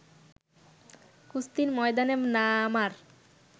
কুস্তির ময়দানে নামার